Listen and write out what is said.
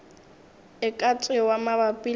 e ka tšewa mabapi le